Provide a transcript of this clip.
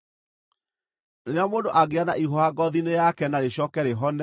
“Rĩrĩa mũndũ angĩgĩa na ihũha ngoothi-inĩ yake na rĩcooke rĩhone,